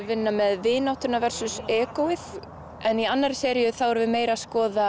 vinna með vináttuna og egóið en í annarri seríu erum við meira að skoða